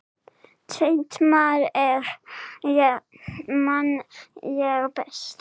Tvennt man ég best.